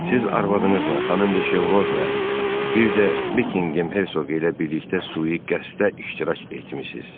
Siz arvadınızla xanım Şevrozla bir də Bekkingem hersoqi ilə birlikdə sui qəsdə iştirak etmisiniz.